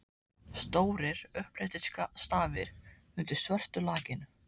Stórir, upphleyptir stafir undir svörtu lakkinu!